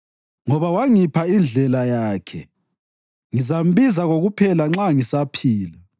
Ngoba wangipha indlela yakhe, ngizambiza kokuphela nxa ngisaphila.